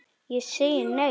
Ég segi nei og nei.